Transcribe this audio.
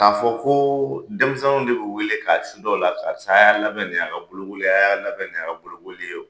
K'a fɔ koo denmisɛnnu de be wele k'a suda u la karisa aya labɛn nin y'a ka bolokoli ye a y'a labɛn nin y'a ka bolokoli ye o